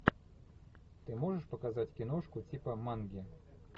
ты можешь показать киношку типа манги